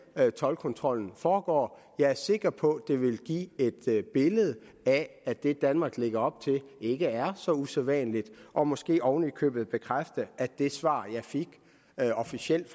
toldkontrollen foregår jeg er sikker på at det vil give et billede af at det danmark lægger op til ikke er så usædvanligt og måske oven i købet bekræfte at det svar jeg officielt